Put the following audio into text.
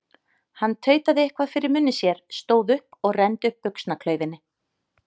Hann tautaði eitthvað fyrir munni sér, stóð upp og renndi upp buxnaklaufinni.